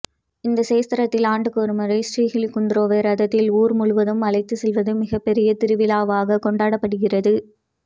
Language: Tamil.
இந்த க்ஷேத்திரத்தில் ஆண்டுக்கு ஒரு முறை ஶ்ரீஹுலிகுந்தேராயாவை ரதத்தில் ஊர் முழுவதும் அழைத்து செல்வது மிகப்பெரிய திருவிழாவாக கொண்டாடப்படுகிறது